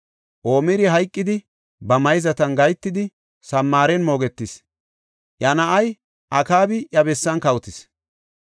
Omiri hayqidi ba mayzatan gahetidi, Samaaren moogetis. Iya na7ay Akaabi iya bessan kawotis.